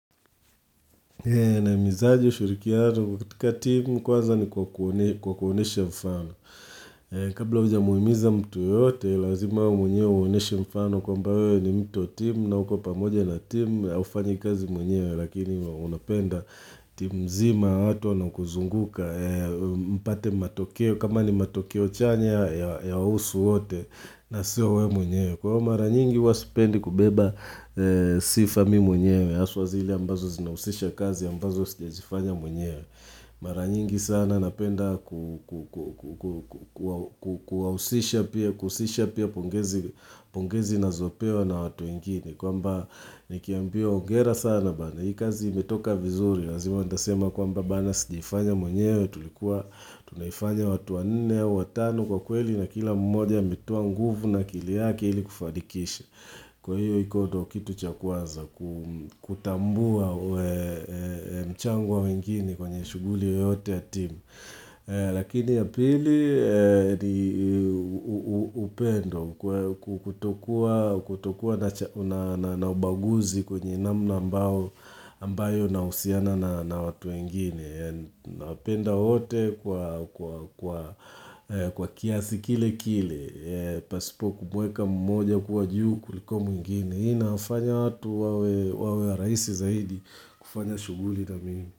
Nahimizaje ushirikiano kwa timu kwanza ni kwa kuonyeshe mfano. Kabla hujamuhimiza mtu yeyote lazima wewe mwenyewe uonyeshe mfano kwamba wewe ni mtu timu na uko pamoja na timu na hufanyi kazi mwenyewe lakini unapenda timu zima watu wanaokuzunguka mpate matokeo kama ni matokeo chanya ya husu wote na sio wewe mwenyewe. Kwa mara nyingi huwa sipendi kubeba sifa mimi mwenyewe haswa zile ambazo zinahusisha kazi ambazo siwezifanya mwenyewe mara nyingi sana napenda kuwausisha pia pungezi na zopewa na watu ingini Kwa mba ni kiambio ongera sana bada Hii kazi imetoka vizuri lazima nitasema kwa mba bada sigejifanya mwenyewe Tunaifanya watu wa nne ya watano kwa kweli na kila mmoja ametoa nguvu na kili yaki hili kufadikisha Kwa hiyo hikoto kitu chakwaza Kutambua mchangwa wengine kwenye shuguli yote ya timu Lakini ya pili ni upendo Kutokua na ubaguzi kwenye namna ambao ambayo na usiana na watu wengine nawapenda wote kwa kiathi kile kile pasipo kubweka mmoja kuwa juu kuliko mwingine hii inafanya watu wawe wa rahisi zaidi kufanya shuguli na mimi.